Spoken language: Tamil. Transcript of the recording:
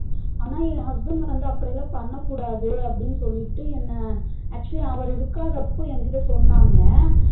ஆனா என் husband வந்து அப்டிலா பண்ணக்கூடாது அப்டினு சொல்லிட்டு என்ன actually அவரு இருகாதபோ என் கிட்ட சொன்னாங்க